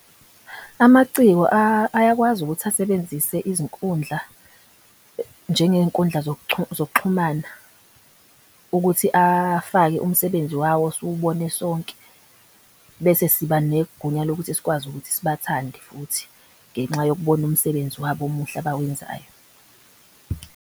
Amaciko ayakwazi ukuthi asebenzise izinkundla njengenkundla zokuxhumana ukuthi afake umsebenzi wawo siwubone sonke. Bese siba negunya lokuthi sikwazi ukuthi sibathande futhi ngenxa yokubona umsebenzi wabo omuhle abawenzayo.